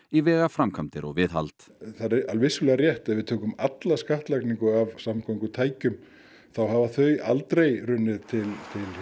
í vegaframkvæmdir og viðhald það er vissulega rétt ef við tökum alla skattlagningu af samgöngutækjum þá hafa þau aldrei runnið til